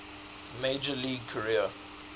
major league career